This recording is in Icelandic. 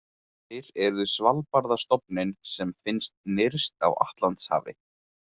Þeir eru Svalbarðastofninn sem finnst nyrst á Atlantshafi.